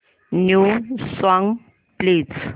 new songs please